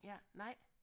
Ja nej